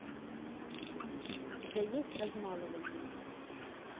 у тебя есть размалывание